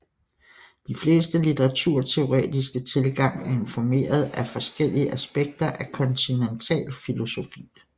De fleste litteraturteoretiske tilgang er informeret af forskellige aspekter af kontinental filosofi